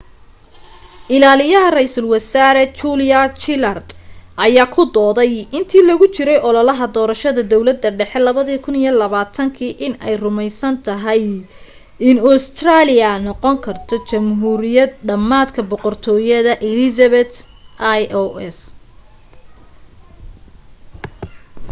ilaaliye ra'iisul wasaare julia gillard ayaa ku dooday intii lagu jiray ololaha doorashada dawladda dhexe 2010 inay ay rumaysantahay in ustareeliya noqon karto jamhuuriyad dhamaadka boqortooyada elizabeth ii's